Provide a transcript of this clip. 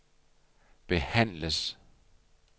behandles